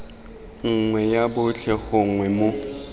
nngwe ya botlhe gongwe mo